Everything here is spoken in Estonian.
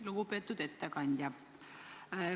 Lugupeetud ettekandja!